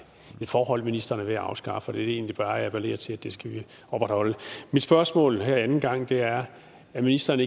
forhold som ministeren er ved at afskaffe vil egentlig bare appellere til at det skal vi opretholde mit spørgsmål her anden gang er er ministeren